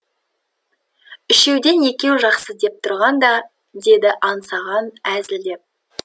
үшеуден екеу жақсы деп тұрған да деді аңсаған әзілдеп